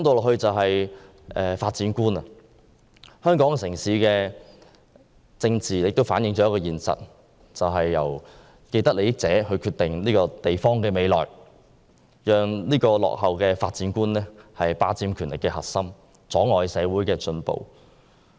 香港的政治反映了一個現實，就是由既得利益者決定這個城市的未來，讓這種落後的發展觀霸佔權力核心，阻礙社會進步。